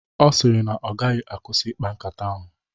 Ọ sịrị na ọ gaghị akwụsị ikpa nkata ahụ